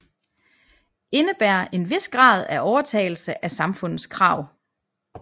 Indebærer en vis grad af overtagelse af samfundets krav